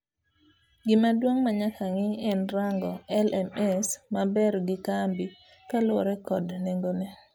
Gima duong' manyaka ng'i en rango LMS maber gi kambi kaluwore kod nengone.